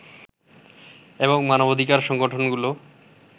এবং মানবাধিকার সংগঠনগুলো